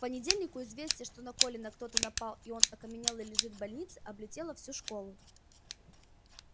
к понедельнику известие что на колина кто-то напал и он окаменелый лежит в больнице облетело всю школу